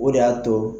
O de y'a to